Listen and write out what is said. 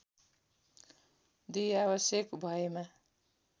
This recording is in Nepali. २ आवश्यक भएमा